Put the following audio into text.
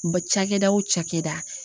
cakɛda o cakɛda